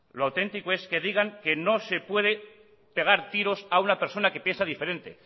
lo auténtico es que digan que no se puede pegar tiros a una persona que piensa diferente